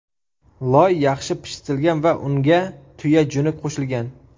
Loy yaxshi pishitilgan va unga tuya juni qo‘shilgan.